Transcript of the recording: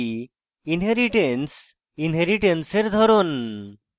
inheritance এবং inheritance এর ধরন